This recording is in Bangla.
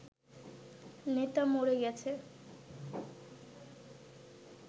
নেতা মরে গেছে